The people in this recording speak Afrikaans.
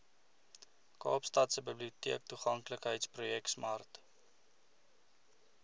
kaapstadse biblioteektoeganklikheidsprojek smart